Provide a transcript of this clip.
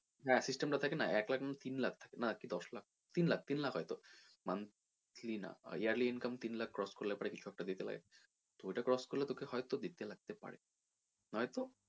হ্যাঁ system টা থাকে না এক লাখ কি তিন লাখ না দশ লাখ তিন লাখ তিন লাখ হয়তো monthly না yearly income তিন লাখ cross করলে পরে এইসব টা দিতে লাগে তো ওইটা cross করলে হয়তো তোকে দিতে লাগতে পারে নয়তো